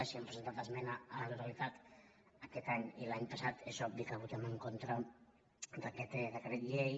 si hem presentat es·mena a la totalitat aquest any i l’any passat és obvi que votem en contra d’aquest decret llei